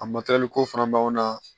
A ko fana b'anw na